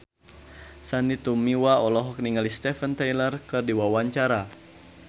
Sandy Tumiwa olohok ningali Steven Tyler keur diwawancara